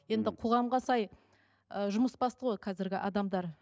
енді қоғамға сай ыыы жұмыс басты ғой қазіргі адамдар